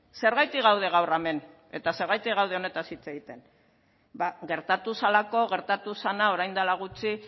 zergatik gaude gaur hemen eta zergatik gaude honetaz hitz egiten ba gertatu zelako gertatu zena orain dela gutxi